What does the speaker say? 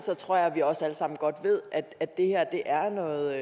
tror jeg også vi alle sammen godt ved at det her er noget